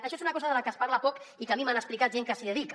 això és una cosa que se’n parla poc i que a mi m’han explicat gent que s’hi dedica